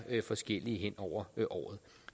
forskellige hen over året